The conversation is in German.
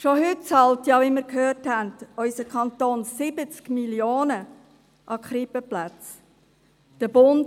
Schon heute bezahlt unser Kanton 70 Mio. Franken an Krippenplätze, wie wir gehört haben.